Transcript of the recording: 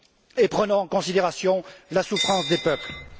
Et prenons en considération la souffrance des peuples!